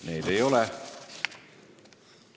Neid ei ole.